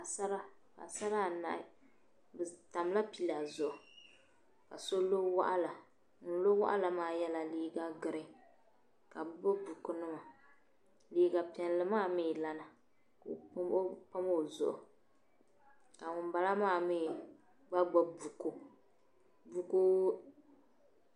Paɣisara , paɣisara anahi bi tamla pila zuɣu kaso lɔ waɣila ŋun lɔ waɣila maa yela liiga green , kabi gbubi bukunima liiga piɛli maa mi lana ka o pam ɔzuɣu, ka ŋun bala maa mi gba gbubi buku .